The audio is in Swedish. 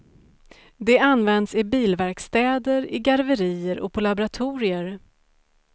Det används i bilverkstäder, i garverier och på laboratorier.